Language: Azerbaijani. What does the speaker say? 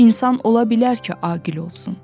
İnsan ola bilər ki, aqil olsun.